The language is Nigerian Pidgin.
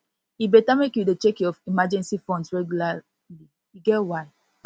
e better make you dey check your emergency funds regularly e get why